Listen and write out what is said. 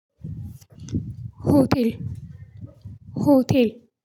ሆቴል ሆቴል።